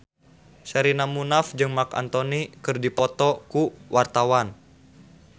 Sherina Munaf jeung Marc Anthony keur dipoto ku wartawan